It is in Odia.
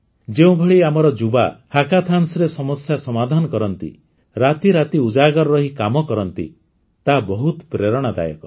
ଯେଉଁଭଳି ଆମର ଯୁବା ହ୍ୟାକାଥାନ୍ସ୍ରେ ସମସ୍ୟା ସମାଧାନ କରନ୍ତି ରାତିରାତି ଉଜାଗର ରହି କାମ କରନ୍ତି ତାହା ବହୁତ ପ୍ରେରଣାଦାୟକ